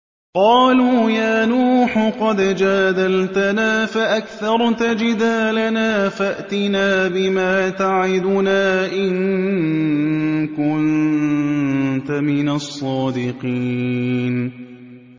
قَالُوا يَا نُوحُ قَدْ جَادَلْتَنَا فَأَكْثَرْتَ جِدَالَنَا فَأْتِنَا بِمَا تَعِدُنَا إِن كُنتَ مِنَ الصَّادِقِينَ